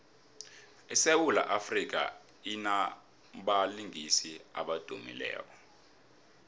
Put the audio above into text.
isewula afrika inabalingiswa abadumileko